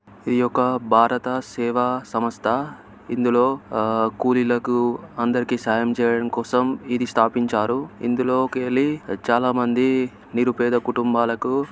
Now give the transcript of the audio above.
ఈ ఒక్క భారతదేశ సేవా సంస్థ .ఇందులో ఆ కూలీలకు అందరికీ సాయం చేయడం కోసం ఇది స్థాపించారు. ఇందులోకెళ్ళి చాలామంది--